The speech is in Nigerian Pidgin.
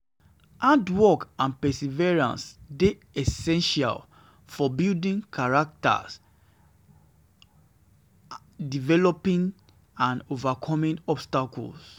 Hard work and perseverance dey essential for building character, for building character, developing skills and overcoming obstacles.